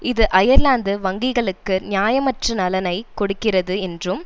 இது அயர்லாந்து வங்கிளுக்கு நியாயமற்ற நலனை கொடுக்கிறது என்றும்